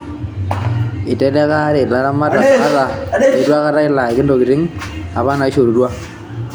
Eiteleleka alaare olaramatak ata leitu akata elaki intokitini apa naishorutwa.